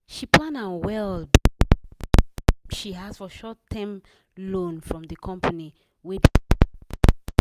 she plan am well before she ask for short-term loan from the company wey dey support staff